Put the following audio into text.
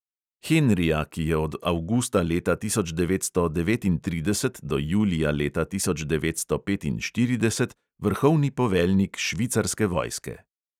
Henrija, ki je od avgusta leta tisoč devetsto devetintrideset do julija leta tisoč devetsto petinštirideset vrhovni poveljnik švicarske vojske.